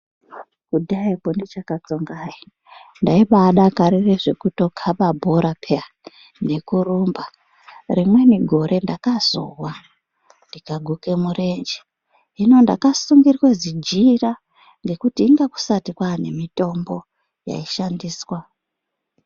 Kudhayakwo ndichakatsonga hayi, ndaibadakarira zvekuto kana bhora piya nekurumba rimweni gore ndakazowa ndikaguka murenje . Hino ndakasungirirwa zijira ngekuti inga kusati kwane mitombo yaishandiswa.